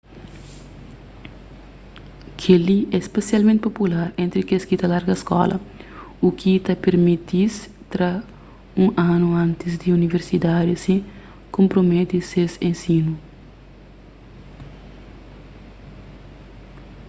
kel-li é spesialmenti popular entri kes ki ta larga skola u ki ta permiti-s tra un anu antis di universidadi sen konprometi ses ensinu